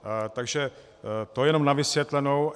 Tak to jenom na vysvětlenou.